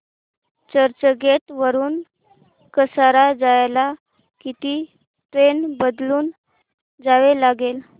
चर्चगेट वरून कसारा जायला किती ट्रेन बदलून जावे लागेल